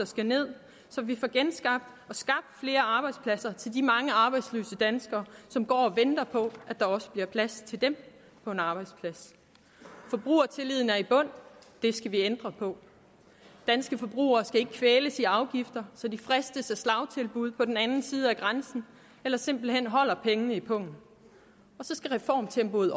skal ned så vi får genskabt og skabt flere arbejdspladser til de mange arbejdsløse danskere som går og venter på at der også bliver plads til dem på en arbejdsplads forbrugertilliden er i bund det skal vi ændre på danske forbrugere skal ikke kvæles i afgifter så de fristes af slagtilbud på den anden side af grænsen eller simpelt hen beholder pengene i pungen og så skal reformtempoet